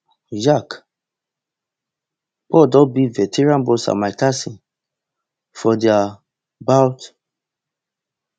jake paul don beat veteran boxer mike tyson for dia bout